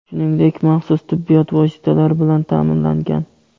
shuningdek maxsus tibbiyot vositalari bilan ta’minlangan.